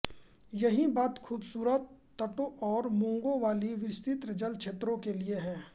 यही बात खूबसूरत तटों और मूंगों वाली विस्तृत जल क्षेत्र के लिए हैं